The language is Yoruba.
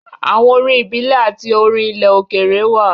Àwọn orin ìbílẹ̀ àti orin ilẹ̀ òkèèrè wà.